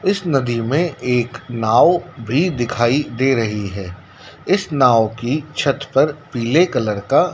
इस नदी में एक नाव भी दिखाई दे रही है इस नाव की छत पर पीले कलर का--